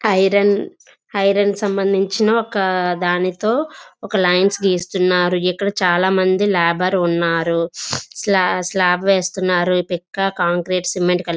Iron iron సంబందించిన ఒక దానితో ఒక లైన్స్ గీస్తున్నారు. ఇక్కడ చాలా మంది లేబర్ ఉన్నారు. స్లాబ్ వేస్తున్నారు. పిక్క కాంక్రీట్ సిమెంట్ కలిపి--